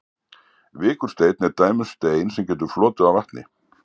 vikursteinn er dæmi um stein sem getur flotið á vatni